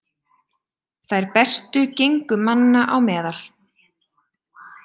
Þær bestu gengu manna á meðal.